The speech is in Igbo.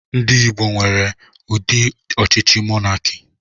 Ndị Igbo nwere ụdị ọchịchị monakị.